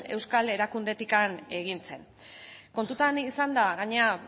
euskal erakundetik egin zen kontutan izanda gainera